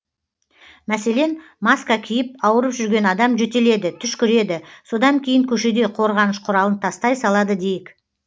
мәселен маска киіп ауырып жүрген адам жөтеледі түшкіреді содан кейін көшеде қорғаныш құралын тастай салады дейік